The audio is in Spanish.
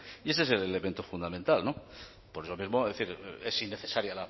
y ese es el elemento fundamental por eso mismo es decir es innecesaria